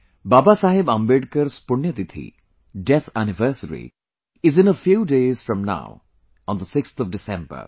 Baba Saheb Ambedkar's Punya Tithi, death anniversary is in a few days from now on the 6th of December